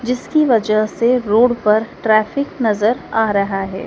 जिसकी वजह से रोड पर ट्रैफिक नजर आ रहा है।